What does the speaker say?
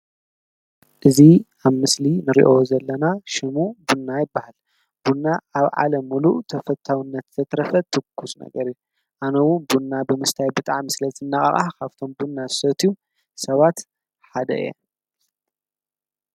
እዙ ኣብ ምስሊ ንርዮ ዘለና ሽሙ ቡና ይበሃል ቡና ኣብ ዓለም ምሉእ ተፈታውነት ተትረፈ ትኩስ ነገር እ ኣነዉ ብንና ብምስታይ ብጥዓ ም ስለ ዘነቓቓህ ኻፍቶም ቡን ዝሰትዩ ሰባት ሓደ እዩ።